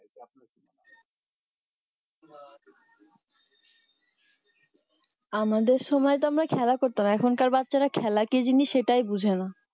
আমাদের সময় তো আমরা খেলা করতাম এখন কার বাচ্ছারা খেলা কি জিনিস সেটাই বুঝে না